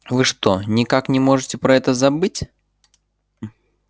вы что никак не можете про это забыть